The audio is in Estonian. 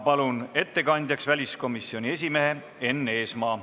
Palun ettekandjaks väliskomisjoni esimehe Enn Eesmaa.